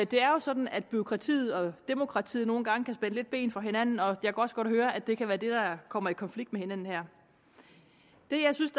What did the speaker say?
det er jo sådan at bureaukratiet og demokratiet nogle gange kan spænde lidt ben for hinanden og jeg kan også godt høre at det kan være det der kommer i konflikt med hinanden her det jeg synes